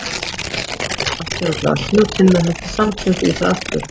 Finnur kláraði vatnið úr glasinu og Tinna hellti samstundis í það aftur.